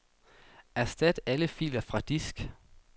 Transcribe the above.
Erstat alle filer fra disk.